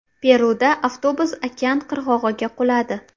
Peruda avtobus okean qirg‘og‘iga quladi.